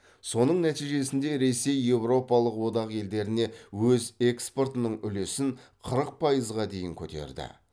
соның нәтижесінде ресей еуропалық одақ елдеріне өз экспортының үлесін қырық пайызға дейін көтерді